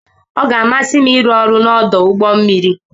Ọ ga-amasị m ịrụ ọrụ n'ọdụ ụgbọ mmiri.